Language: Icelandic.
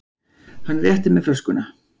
Hann rétti mér flöskuna.